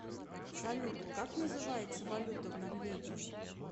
салют как называется валюта в норвегии